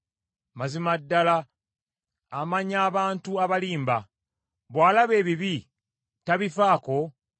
Mazima ddala amanya abantu abalimba. Bw’alaba ebibi, tabifaako?